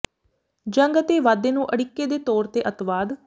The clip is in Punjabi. ਜੰਗ ਅਤੇ ਵਾਧੇ ਨੂੰ ਅੜਿੱਕੇ ਦੇ ਤੌਰ ਤੇ ਅੱਤਵਾਦ